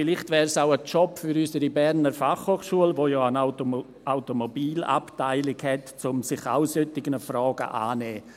Vielleicht wäre es auch ein Job für unsere Berner Fachhochschule (BFH), die ja eine Automobilabteilung hat, sich solcher Fragen anzunehmen.